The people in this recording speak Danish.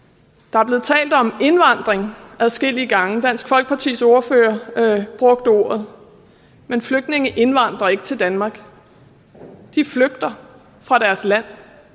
der er blevet talt om indvandring adskillige gange dansk folkepartis ordfører brugte ordet men flygtninge indvandrer ikke til danmark de flygter fra deres land